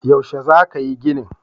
Yaushe za ka yi ginin?